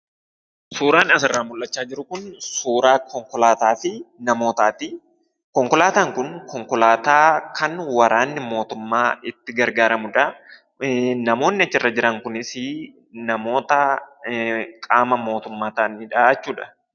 Suuraan asirraa mul'achaa jiru kun suuraa konkolaataafi namootaati. Konkolaataan kun konkolaataa kan waraanni mootummaa itti gargaaramudha. Namoonni achirra jiran kunis namoota qaama mootumma taa'anidhaa jechudha.